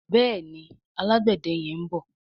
Béèni Alágbède yén bó.